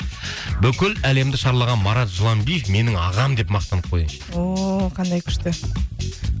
бүкіл әлемді шарлаған марат жыланбиев менің ағам деп мақтанып қояйыншы ооо қандай күшті